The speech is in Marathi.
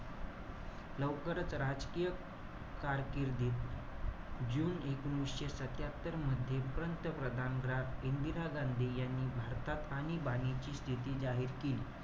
लवकरच राजकीय कारकीर्दीस, जुने एकोणीशे सत्यात्तर मध्ये, पंतप्रधान इंदिरा गांधी यांनी भारतात आणीबाणीची स्थिती जाहीर केली.